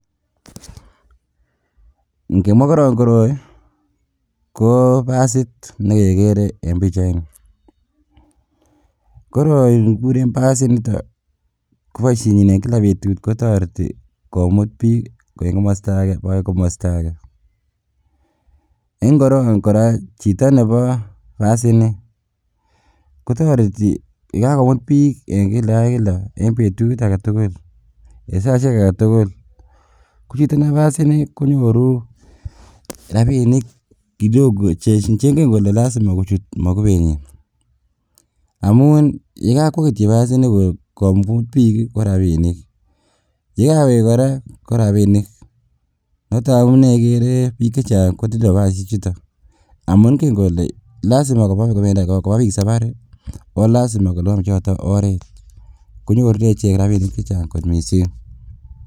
Inkemwaa korong koroi kobasit nekekere en pichaini, koroi kikuren basinito koboisienyin en kila betut kotoreti komut bik en komosto agee bakai komosto agee ,en korong koraa chito nebo basini kotoreti yekakomut bik en kila ak kila en betut agetugul en saisiek agetugul, kochitonebo basini konyoru kidogo chengen kole nyoru en mokubenyin amun yekokwo kityok basini komut bik korabinik yekawek koraa korabinik ,noton amune ikere bik chechang kotindo basisiechuto amun nge lole lazima kobaa bik safari ii oo lazima koliban choto oret konyorjingee ichek rabisiek chechang kot misink .